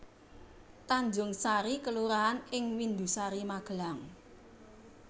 Tanjungsari kelurahan ing Windusari Magelang